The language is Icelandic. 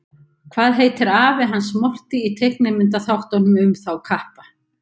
Hvað heitir afi hans Morty í teiknimyndaþáttunum um þá kappa?